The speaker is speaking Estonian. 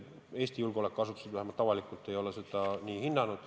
Eesti julgeolekuasutused vähemalt avalikult ei ole seda nii hinnanud.